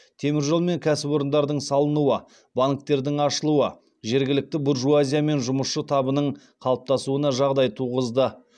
теміржол мен кәсіпорындардың салынуы банктердің ашылуы жергілікті буржуазия мен жұмысшы табының қалыптасуына жағдай туғызды